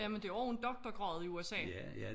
Jamen det og en doktorgrad i USA